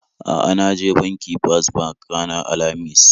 A'a, na je banki First bank ranar Alhamis